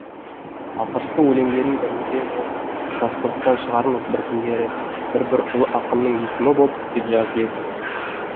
алғашқы өлеңдерінің бірінде ол кроссвордтан шығармыз бір күндері бір бір ұлы ақынның есімі боп деп жазып еді